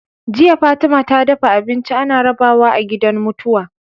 Jiya Fatima ta dafa abinci ana rabawa a gidan mutuwa